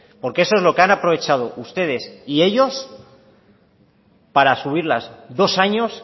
porque eso es lo que han aprovechado ustedes y ellos para subirlas dos años